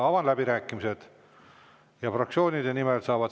Avan läbirääkimised ja sõna saab fraktsioonide nimel.